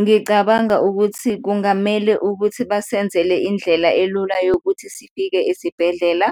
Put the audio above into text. Ngicabanga ukuthi kungamele ukuthi basenzele indlela elula yokuthi sifike esibhedlela,